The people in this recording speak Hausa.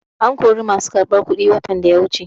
An kori masu karɓar kuɗi watan da ya wuce.